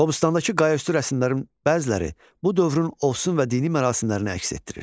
Qobustandakı qayaüstü rəsmlərin bəziləri bu dövrün ovsun və dini mərasimlərini əks etdirir.